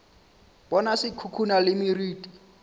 bona se khukhuna le meriti